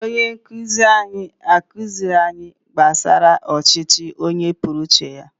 Onye nkuzi anyị akụzighị anyị gbasara ọchịchị onye kwuo uche ya